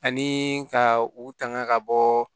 Ani ka u tanga ka bɔ